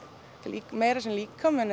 því meira sem líkaminn